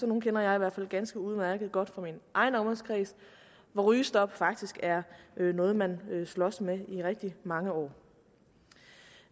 nogle kender jeg i hvert fald ganske udmærket godt fra min egen omgangskreds hvor rygestop faktisk er noget man slås med i rigtig mange år